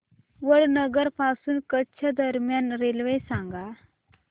वडनगर पासून कच्छ दरम्यान रेल्वे सांगा